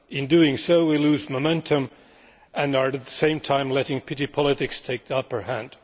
In doing so, we lose momentum and are at the same time letting petty politics take the upper hand.